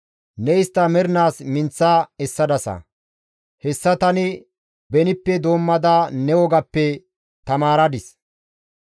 Ne istta mernaas minththa essadasa; hessa tani benippe doommada ne wogappe tamaaradis.